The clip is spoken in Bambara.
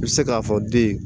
I bɛ se k'a fɔ den